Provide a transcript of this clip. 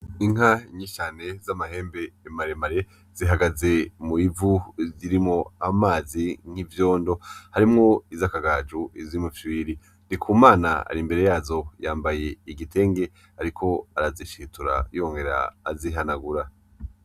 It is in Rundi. Inka nyinshi cane z'amahembe maremare zihagaze mubivu zirimwo amazi n'ivyondo; harimwo izakagaju, izumufyiriri. Ndikumana arimbere yazo yambaye igitenge ariko arazishitura yongera azihanagura.